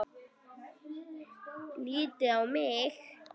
Lítið á mig!